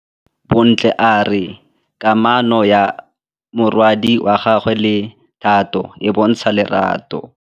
Bontle a re kamanô ya morwadi wa gagwe le Thato e bontsha lerato.